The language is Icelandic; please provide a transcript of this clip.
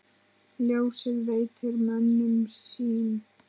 Ljósið veitir mönnum sýn.